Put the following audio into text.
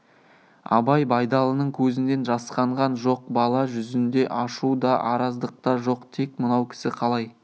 абай байдалының көзінен жасқанған жоқ бала жүзінде ашу да араздық та жоқ тек мынау кісі қалай